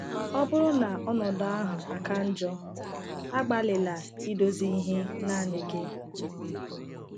Ọ bụrụ na ọnọdụ ahụ aka njọ, agbalịla idozi ihe naanị gị.